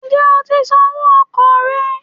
Ǹjẹ́ o ti san owó okò rẹ̀